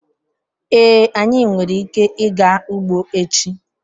Ee, anyị nwere ike ịga ugbo echi